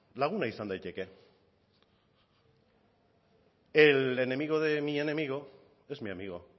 laguna izan daiteke el enemigo de mi enemigo es mi amigo